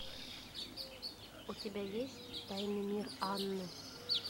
у тебя есть тайный мир анны